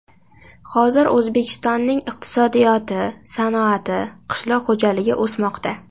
Hozir O‘zbekistonning iqtisodiyoti, sanoati, qishloq xo‘jaligi o‘smoqda.